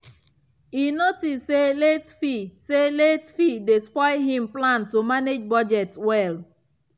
e notice say late fee say late fee dey spoil him plan to manage budget well.